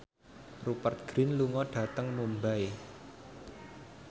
Rupert Grin lunga dhateng Mumbai